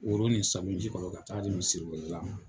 O woro nin salo ji kɔnɔ ka taa di misiri wele la ma.